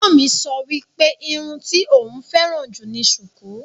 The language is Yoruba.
Ẹ̀gbọ́n mi sọ wípé irun tí òún féràn jù ni sùkú.